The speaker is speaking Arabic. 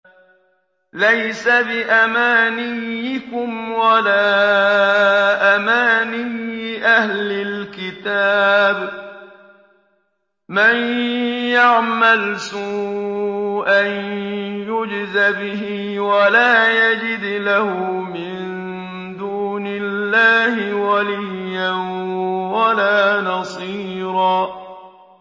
لَّيْسَ بِأَمَانِيِّكُمْ وَلَا أَمَانِيِّ أَهْلِ الْكِتَابِ ۗ مَن يَعْمَلْ سُوءًا يُجْزَ بِهِ وَلَا يَجِدْ لَهُ مِن دُونِ اللَّهِ وَلِيًّا وَلَا نَصِيرًا